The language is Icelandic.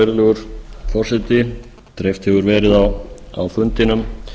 virðulegur forseti dreift hefur verið á fundinum